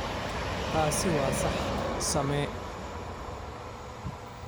Taasi waa sax, samee.